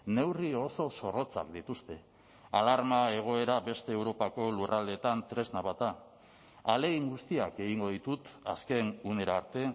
neurri oso zorrotzak dituzte alarma egoera beste europako lurraldeetan tresna bat da ahalegin guztiak egingo ditut azken unera arte